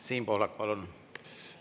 Siim Pohlak, palun!